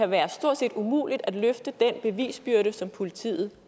være stort set umuligt at løfte den bevisbyrde som politiet